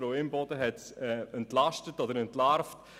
Frau Imboden hat diese jedenfalls entlarvt.